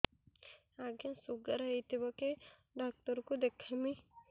ଆଜ୍ଞା ଶୁଗାର ହେଇଥିବ କେ ଡାକ୍ତର କୁ ଦେଖାମି